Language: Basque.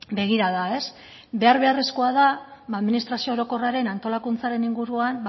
begirada behar beharrezkoa da administrazio orokorraren antolakuntzaren inguruan